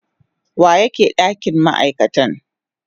wa yake dakin ma'aikatai.